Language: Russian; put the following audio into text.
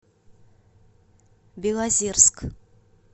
белозерск